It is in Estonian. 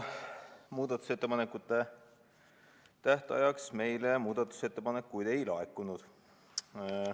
Muudatusettepanekute tähtajaks meile muudatusettepanekuid ei laekunud.